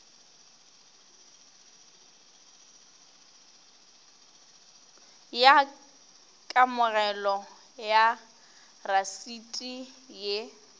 ya kamogelo ya rasiti ye